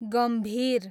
गम्भीर